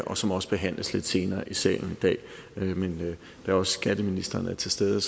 og som også behandles lidt senere i salen i dag men da også skatteministeren er til stede